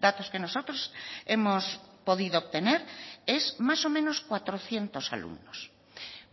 datos que nosotros hemos podido obtener es más o menos cuatrocientos alumnos